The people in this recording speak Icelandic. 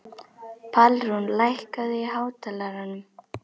Pálrún, lækkaðu í hátalaranum.